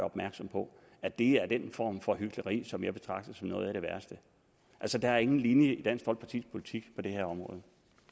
opmærksom på at det er den form for hykleri som jeg betragter som noget af det værste altså der ingen linje i dansk folkepartis politik på det her område